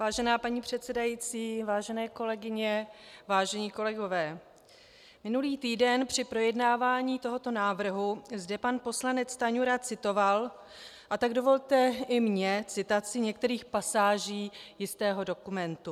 Vážená paní předsedající, vážené kolegyně, vážení kolegové, minulý týden při projednávání tohoto návrhu zde pan poslanec Stanjura citoval, a tak dovolte i mně citaci některých pasáží jistého dokumentu.